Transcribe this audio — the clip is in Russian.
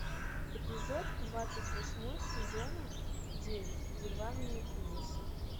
эпизод двадцать восьмой сезона девять бульварные ужасы